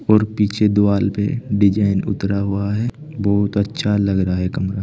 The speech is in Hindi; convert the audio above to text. और पीछे दुवाल पे डिजाइन उतरा हुआ है बहोत अच्छा लग रहा है कमरा।